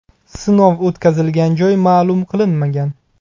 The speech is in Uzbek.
Sinov o‘tkazilgan joy ma’lum qilinmagan.